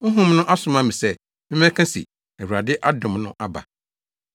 Honhom no asoma me sɛ memmɛka se, Awurade adom no aba.”